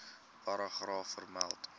paragraaf vermeld